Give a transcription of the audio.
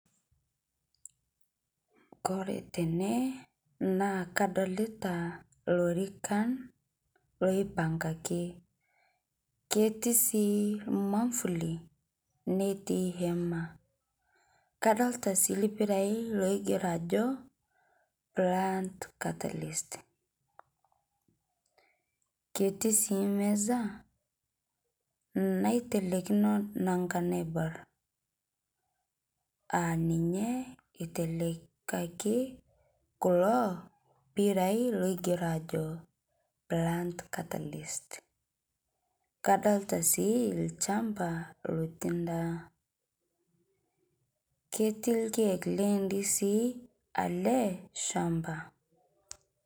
Kore tene naa kadolita ilorikan loipngangi ketii sii mafuli netii hema ketii sii iriyai logero ajo ketii meza naitelekino nanga naibor aa ninye etelekaki kulo pirai loigero ajo plant catalyst kadolita sii olchamba lotii ndaa ketii sii ndizii ele shamba